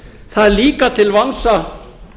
það er líka til vansa